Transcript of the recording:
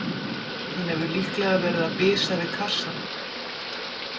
Hann hefur líklega verið að bisa við kassann.